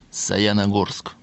саяногорск